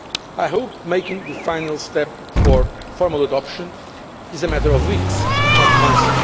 I hope making the final step for formal adoption is a matter of weeks, not months.